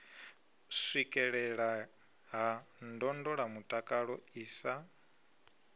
swikelelea ha ndondolamutakalo i sa